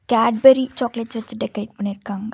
Cadbury chocolates வச்சு decorate பண்ணிருக்காங்க.